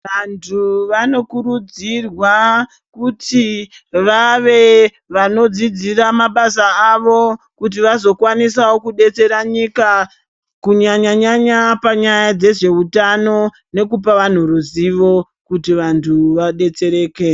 Vantu vanokurudzirwa kuti vave vanodzidzira mabasa avo kuti vazokwanisawo kubetsera nyika kunyanya-nyanya panyaya dzezveutano nekupa vantu ruzivo kuti vantu vadetsereke.